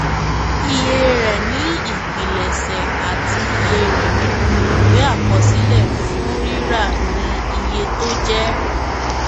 iye rẹ ni ìpilẹṣẹ àti iye rẹ nínú ìwé àkọsílẹ fún rírà ni iye tó jẹ